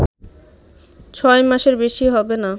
ছয় মাসের বেশি হবে না